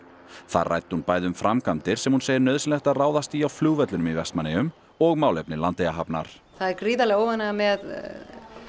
þar ræddi hún bæði um framkvæmdir sem hún segir nauðsynlegt að ráðast í á flugvellinum í Vestmannaeyjum og málefni Landeyjahafnar það er gríðarleg óánægja með